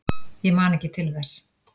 Ég man ekki til þess.